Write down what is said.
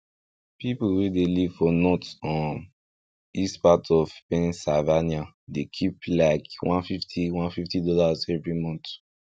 pipu wey dey live for north um east part of pennsylvania dey keep like one fifty one fifity dollars every month